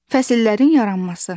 Fəsillərin yaranması.